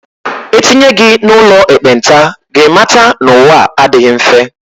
E tinye gị n'ụlọ ekpenta, gị mata na ụwa a adịghị mfe.